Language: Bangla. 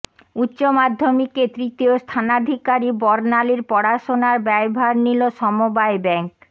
উচ্চমাধ্যমিকে তৃতীয় স্থানাধিকারী বর্ণালীর পড়াশোনার ব্যয়ভার নিল সমবায় ব্যাঙ্ক